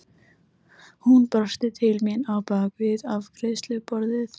Hún brosti til mín á bak við afgreiðsluborðið.